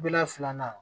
Bila filanan na